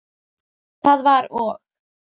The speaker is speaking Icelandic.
Það var og.